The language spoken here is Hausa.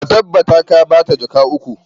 Ka tabbata ka ba ta jaka uku!